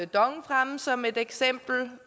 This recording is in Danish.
dong fremme som et eksempel